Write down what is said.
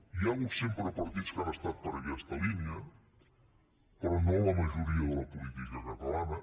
hi ha hagut sempre partits que han estat per aquesta línia però no la majoria de la política catalana